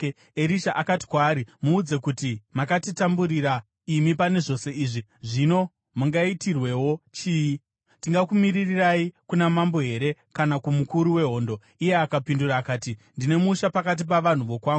Erisha akati kwaari, “Muudze kuti, ‘Makatitamburira imi pane zvose izvi, zvino mungaitirwewo chii? Tingakumiririrai kuna mambo here kana kumukuru wehondo?’ ” Iye akapindura akati, “Ndine musha pakati pavanhu vokwangu.”